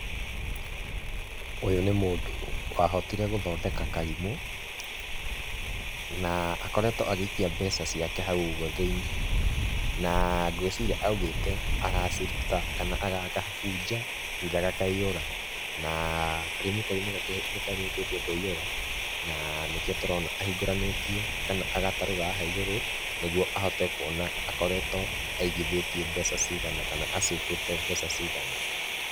Ũyũ nĩ mũndũ wahotire gũthondeka karimũ, na akoretwo agĩikia mbeca ciake hau ũguo thĩ-inĩ, na ngwĩciria augĩte agaciruta kana agagabunja rĩrĩa gakaihũra, na karimũ kau nĩ karĩkĩtie kũihũra, na nĩkĩo tũrona ahingũranĩtie kana agatarũra haha igũrũ, nĩguo ahote kuona akoretwo aigithĩtie mbeca cigana kana a save ĩte mbeca cigana.